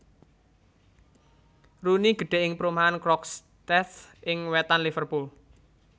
Rooney gedhè ing perumahan Croxteth ing wètan Liverpool